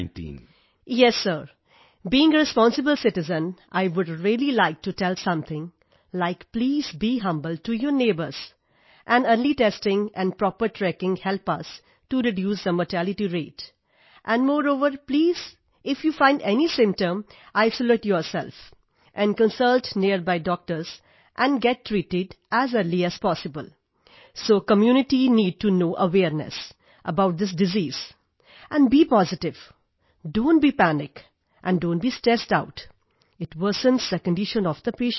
yes sir being a responsible citizen I would really like to tell something like please be humble to your neighbours and early testing and proper tracking help us to reduce the mortality rate and moreover please if you find any symptoms isolate yourself and consult nearby doctors and get treated as early as possible so community need to know awareness about this disease and be positive don't be panic and don't be stressed out it worsens the condition of the patient